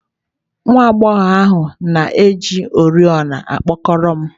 Nwa agbọghọ ahụ na-eji oriọna okpokoro m